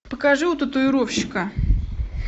покажи у татуировщика